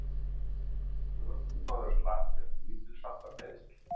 Ökumaður slapp með lítilsháttar meiðsl